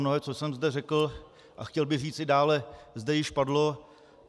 Mnohé, co jsem zde řekl a chtěl bych říct i dále, zde již padlo.